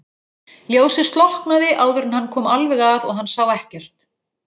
Síðan Abba hin og loks lágu þau öll þarna undir súðinni.